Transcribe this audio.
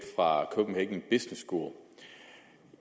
fra copenhagen school